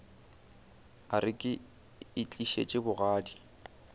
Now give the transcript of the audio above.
a re ke itlišitše bogadi